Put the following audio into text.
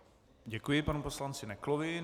Děkuji panu poslanci Neklovi.